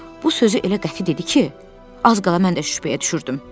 Bu sözü elə qəti dedi ki, az qala mən də şübhəyə düşürdüm.